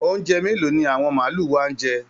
Oúnjẹ mélòó ni àwọn màlúù wa ń jẹ?